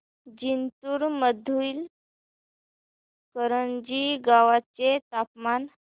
जिंतूर मधील करंजी गावाचे तापमान